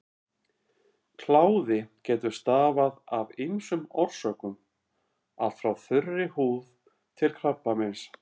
Kláði getur stafað af ýmsum orsökum, allt frá þurri húð til krabbameins.